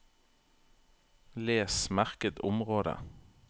Les merket område